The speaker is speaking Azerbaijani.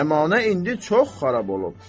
Cəmanə indi çox xarab olub.